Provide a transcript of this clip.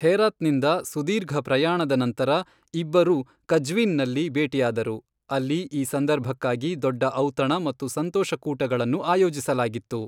ಹೆರಾತ್ನಿಂದ ಸುದೀರ್ಘ ಪ್ರಯಾಣದ ನಂತರ ಇಬ್ಬರೂ ಕಜ್ವೀನ್ನಲ್ಲಿ ಭೇಟಿಯಾದರು, ಅಲ್ಲಿ ಈ ಸಂದರ್ಭಕ್ಕಾಗಿ ದೊಡ್ಡ ಔತಣ ಮತ್ತು ಸಂತೋಷ ಕೂಟಗಳನ್ನು ಆಯೋಜಿಸಲಾಗಿತ್ತು.